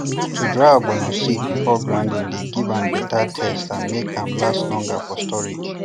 to dry ogbono seeds before grinding dey give better taste and make am last longer for storage